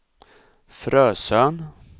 Frösön